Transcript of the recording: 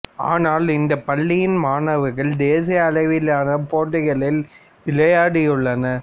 ஆனால் இந்த பள்ளியின் மாணவர்கள் தேசிய அளவிலான போட்டிகளில் விளையாடியுள்ளனர்